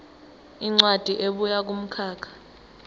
incwadi ebuya kumkhakha